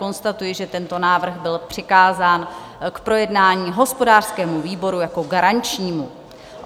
Konstatuji, že tento návrh byl přikázán k projednání hospodářskému výboru jako garančnímu.